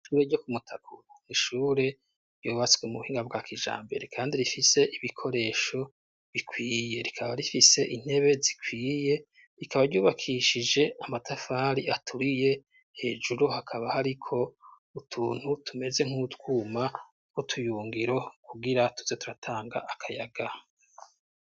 Ishure ryo ku Mutakura, n'ishure ryubatswe mu buhinga bwa kijambere kandi rifise ibikoresho bikwiye, rikaba rifise intebe zikwiye, rikaba ryubakishije amatafari aturiye, hejuru hakaba hariko utuntu tumeze nk'utwuma n'utuyungiro kugira tuze turatanga akayaga.